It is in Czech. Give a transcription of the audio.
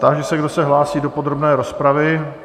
Táži se, kdo se hlásí do podrobné rozpravy?